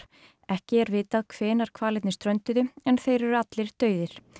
ekki er vitað hvenær hvalirnir strönduðu en þeir eru allir dauðir